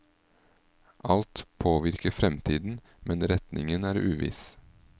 Alt påvirker fremtiden, men retningen er uviss.